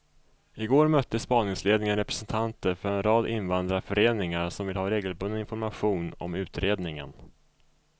I går mötte spaningsledningen representanter för en rad invandrarföreningar som vill ha regelbunden information om utredningen.